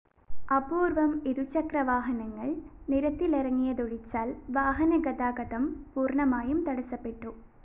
അപൂര്‍വ്വം ഇരുചക്രവാഹനങ്ങള്‍ നിരത്തിലിറങ്ങിയതൊഴിച്ചാല്‍ വാഹനഗതാഗതം പൂര്‍ണ്ണമായും തടസ്സപ്പെട്ടു